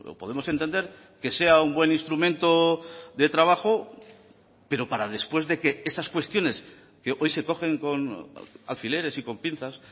podemos entender que sea un buen instrumento de trabajo pero para después de que esas cuestiones que hoy se cogen con alfileres y con pinzas